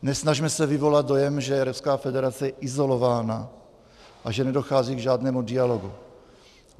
Nesnažme se vyvolat dojem, že je Ruská federace izolována a že nedochází k žádnému dialogu.